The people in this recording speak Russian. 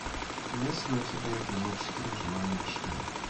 есть ли у тебя эпизод четыре живая мишень